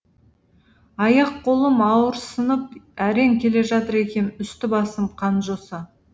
аяқ қолым ауырсынып әрең келе жатыр екем үсті басым қанжоса